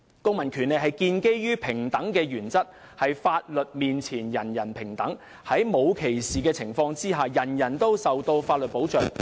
公民權利是建基於平等的原則，即"法律面前人人平等"，在沒有歧視的情況下，人人均受到法律保障。